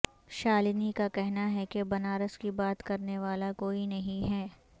شالنی کا کہنا ہے کہ بنارس کی بات کرنے والا کوئی نہیں ہے